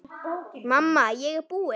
Mamma, ég er búin!